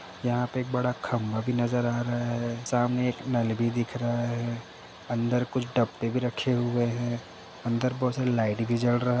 यहां पर एक बड़ा खम्बा भी नजर आ रहा है। सामने एक नल भी दिख रहा है। अंदर कुछ डब्बे भी रखे हुए हैं। अंदर बहोत सारे लाइट भी जल र --